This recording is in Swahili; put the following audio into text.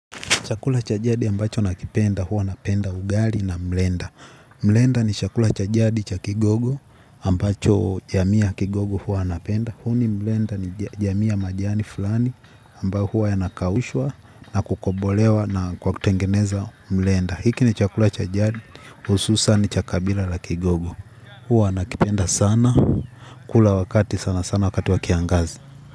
Chakula cha jadi ambacho nakipenda huwa napenda ugali na mlenda. Mlenda ni chakula cha jadi cha kigogo ambacho jamii ya kigogo huwa wanapenda. Huni mlenda ni jamii ya majani fulani ambao huwa yanakaushwa na kukobolewa na kwa kutengeneza mlenda. Hiki ni chakula cha jadi hususan cha kabila la kigogo. Huwa wanakipenda sana. Kula wakati sana sana wakati wa kiangazi.